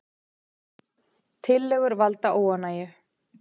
Tillögur valda óánægju